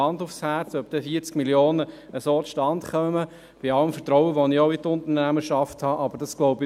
Hand aufs Herz: Dass 40 Mio. Franken so zustande kämen, glaube ich nicht, bei allem Vertrauen, das ich in die Unternehmerschaft habe.